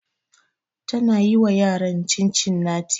Tana yi wa yaran Cincinnati